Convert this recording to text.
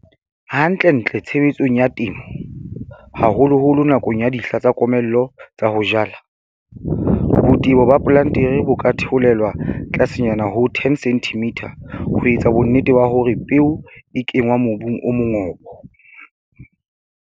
Hantlentle tshebetsong ya temo, haholoholo nakong ya dihla tsa komello tsa ho jala, botebo ba plantere bo ka theolelwa tlasenyana ho 10 cm ho etsa bonnete ba hore peo e kenngwa mobung o mongobo.